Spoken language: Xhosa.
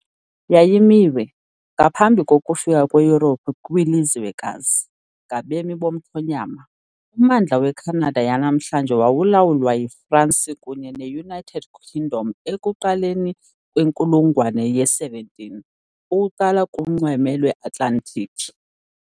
Yayimiwe, ngaphambi kokufika kweYurophu kwilizwekazi, ngabemi bomthonyama, ummandla weCanada yanamhlanje wawulawulwa yiFrance kunye neUnited Kingdom ekuqaleni kwenkulungwane ye-17 , ukuqala kunxweme lweAtlantiki .